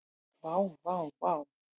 Vá, vá vá.